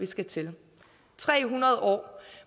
skal til tre hundrede år